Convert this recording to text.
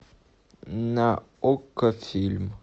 на окко фильм